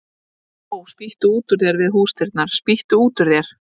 Ó, spýttu út úr þér við húsdyrnar, spýttu út úr þér